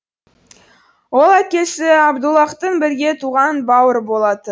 ол әкесі абдуллаһтың бірге туған бауыры болатын